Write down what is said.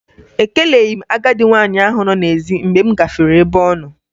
Ekeleghi m agadị nwaanyị ahụ nọ n'ezi mgbe m gafere ebe ọnọ